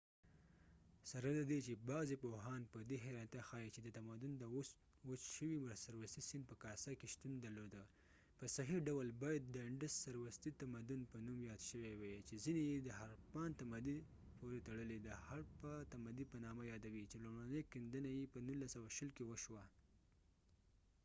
سره ددې چې بغضی پوهان په دي حیرانتیا ښایې چې د تمدن د اوس و چ شوي سروستی سیند په کاسه کې شتون درلوده .په صحیح ډول باید دانډس سروستی تمدن په نوم یاد شوي وای چې ځینی یې د هړپان تمدن پورې تړلی د هړپه تمدي په نامه یادوي چې لومړنی کېندنی یې په 1920 کې وشوي